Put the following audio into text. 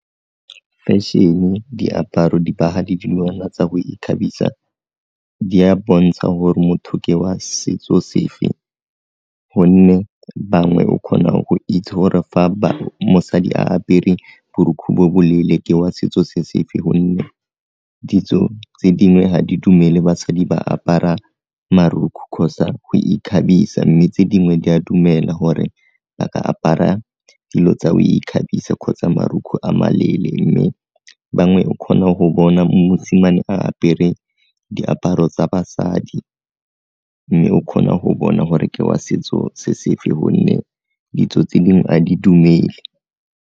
Feshene, diaparo, dibaga le dilwana tsa go ikgabisa di a bontsha gore motho ke wa setso sefe, gonne bangwe o kgona go itse gore fa mosadi a apere borukgu bo boleele ke wa setso se sefe gonne ditso tse dingwe ga di dumele basadi ba apara marukgu kgotsa go ikgabisa mme tse dingwe di a dumela gore ba ka apara dilo tsa go ikgabisa kgotsa marukgu a maleele mme bangwe o kgona go bona mosimane a apere diaparo tsa basadi, mme o kgona go bona gore ke wa setso se sefe gonne ditso tse dingwe a di dumele.